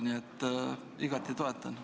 Nii et ma igati toetan seda.